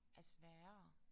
Er sværere